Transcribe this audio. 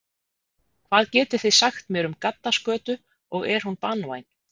Hvað getið þið sagt mér um gaddaskötu og er hún banvæn?